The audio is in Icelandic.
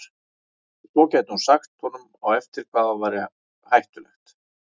Og svo gæti hún sagt honum á eftir hvað væri hættulegt.